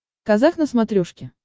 казах на смотрешке